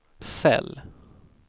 cell